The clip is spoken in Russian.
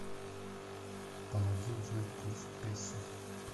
помоги узнать курс песо